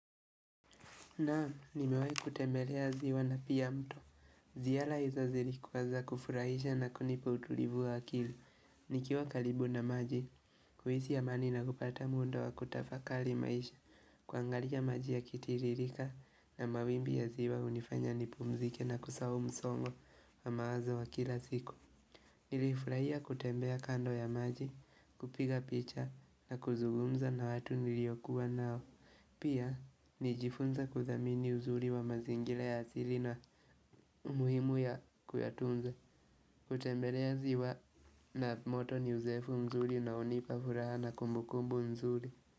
Na'am, nimewahi kutembelea ziwa na pia mto. Ziara hizo zilikuwa za kufurahisha na kunipa utulivu wa akili. Nikiwa karibu na maji, kuhisi amani na kupata muda wa kutafakari maisha. Kuangalia maji yakitiririka na mawimbi ya ziwa hunifanya nipumzike na kusahau msongo wa mawazo wa kila siku. Nilifurahia kutembea kando ya maji, kupiga picha na kuzugumza na watu niliyokuwa nao. Pia, nijifunza kuthamini uzuri wa mazingira ya asili na umuhimu ya kuyatunza, kutembelea ziwa na moto ni uzoefu mzuri na hunipa furaha na kumbukumbu nzuri.